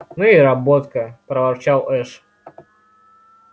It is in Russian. ну и работка проворчал эш